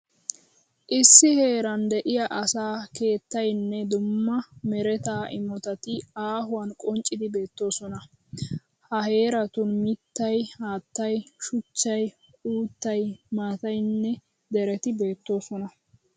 Issi heeran de'iya asaa keettayinne dumma mereta imotati aahuwan qonccidi beettoosona. Ha heeratun mittayi, haattayi, shuchchayi, uuttayi, maattayinne dereti beettoosona.